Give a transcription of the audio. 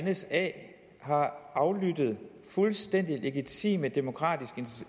at nsa har aflyttet fuldstændig legitime demokratiske